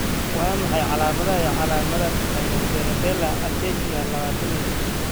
Waa maxay calaamadaha iyo calaamadaha Spinocerebellar ataxia lawatan iyo liix ?